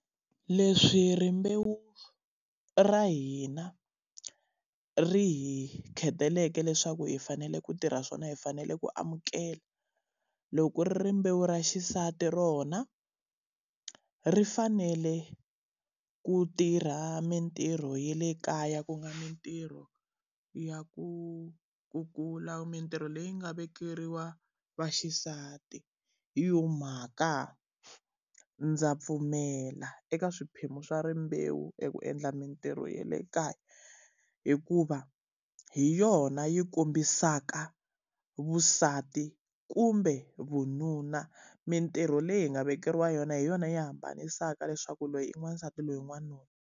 Leswi rimbewu ra hina ri hi kheteleke leswaku hi fanele ku tirha swona hi fanele ku amukela. Loko ri ri rimbewu ra xisati rona, ri fanele ku tirha mintirho ya le kaya ku nga mintirho ya ku kukula, mintirho leyi nga vekeriwa vaxisati. Hi yona mhaka ndza pfumela eka swiphemu swa rimbewu eku endla mintirho ya le kaya hikuva, hi yona yi kombisaka vusati kumbe vununa. Mintirho leyi hi nga vekeriwa yona hi yona yi hambanisaka leswaku loyi i wansati loyi n'wanuna.